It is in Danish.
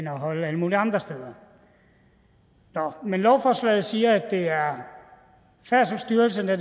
holdt alle mulige andre steder men lovforslaget siger at det er færdselsstyrelsen der